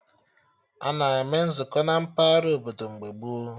Ana eme Nzukọ na mpaghara obodo mgbe gboo